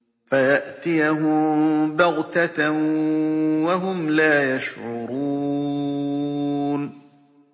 فَيَأْتِيَهُم بَغْتَةً وَهُمْ لَا يَشْعُرُونَ